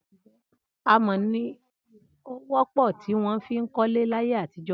Amọ̀ ni ó wọ́pọ̀ tí wọ́n fi ń kọ́lé láyé àtijọ́